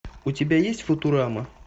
у тебя есть футурама